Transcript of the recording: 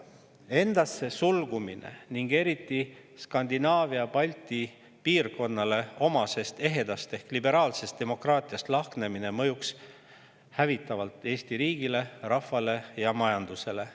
Endasse sulgumine ning eriti Skandinaavia-Balti piirkonnale omasest ehedast ehk liberaalsest demokraatiast lahknemine mõjuks hävitavalt Eesti riigile, rahvale ja majandusele.